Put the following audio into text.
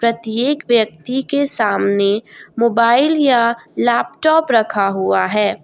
प्रत्येक व्यक्ति के सामने मोबाइल या लैपटॉप रखा हुआ है।